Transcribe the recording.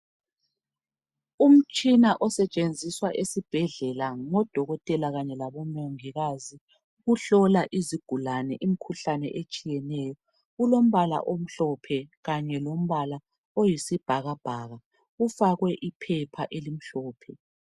Umtshina osetshenziswa esibhedlela ngodokotela kanye labomongikazi ukuhlola izigulane imikhuhlane etshiyeneyo. Ulombala omhlophe kanye lombala oyisibhakabhaka. Ufakwe iphepha elimhlophe.